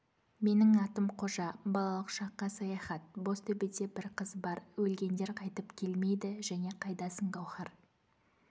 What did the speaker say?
менің атым қожа балалық шаққа саяхат бозтөбеде бір қыз бар өлгендер қайтып келмейді және қайдасың гауһар